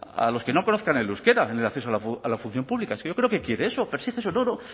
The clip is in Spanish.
a los que no conozcan el euskera en el acceso a la función pública es que yo creo que quiere eso persigue eso no no